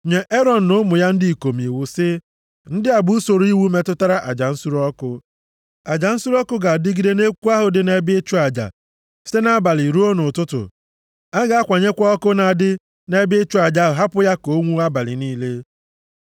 “Nye Erọn na ụmụ ya ndị ikom iwu sị: ‘Ndị a bụ usoro iwu metụtara aja nsure ọkụ. Aja nsure ọkụ ga-adịgide nʼekwu ahụ dị nʼebe ịchụ aja site nʼabalị ruo nʼụtụtụ. A ga-akwanyekwa ọkụ na-adị nʼebe ịchụ aja hapụ ya ka o nwuo abalị niile.